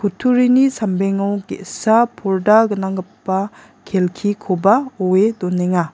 kutturini sambengo ge·sa porda gnanggipa kelkikoba oe donenga.